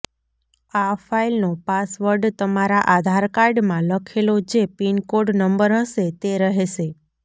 આ ફાઈલનો પાસવર્ડ તમારા આધાર કાર્ડમાં લખેલો જે પિન કોડ નંબર હશે તે રહેશે